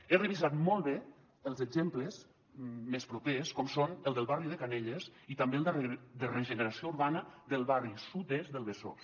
he revisat molt bé els exemples més propers com són el del barri de canelles i també el de regeneració urbana del barri sud est del besòs